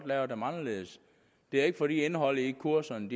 lave dem anderledes det er ikke fordi indholdet i kurserne